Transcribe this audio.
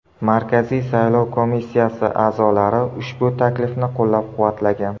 Markaziy saylov komissiyasi a’zolari ushbu taklifni qo‘llab-quvvatlagan.